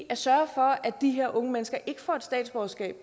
at sørge for at de her unge mennesker ikke får et statsborgerskab